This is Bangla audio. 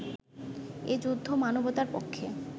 এ যুদ্ধ মানবতার পক্ষে